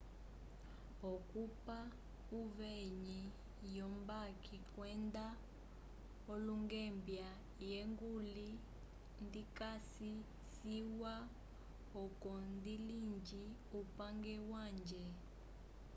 okupa uveyi wo mbambi kwenda olungembia ye nguli ndikasi ciwa oco ndilinge upange wange